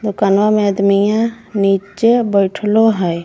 दोकनवा वाला अदमिय नीचे बईठलो हय।